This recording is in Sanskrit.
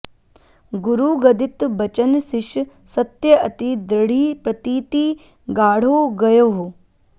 गुरु गदित बचन सिष सत्य अति दृढ़ि प्रतीति गाढ़ो गह्यो